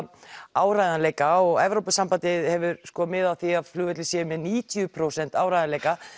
áreiðanleika og Evrópusambandið hefur mið af því að flugvellir séu með níutíu prósent áreiðanleika